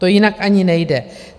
To jinak ani nejde.